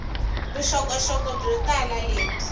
vuxokoxoko byo tala lebyi